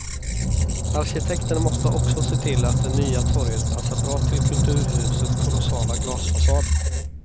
Arkitekterna måste också se till att det nya torget passar bra till kulturhuset kolossala glasfasad.